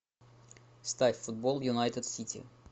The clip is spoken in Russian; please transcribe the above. ставь футбол юнайтед сити